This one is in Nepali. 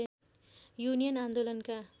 युनियन आन्दोलनका